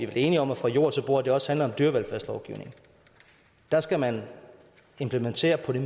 vel enige om at fra jord til bord også handler om dyrevelfærdslovgivning der skal man implementere på det